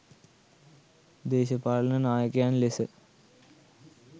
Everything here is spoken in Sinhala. දේශපාලන නායකයන් ලෙස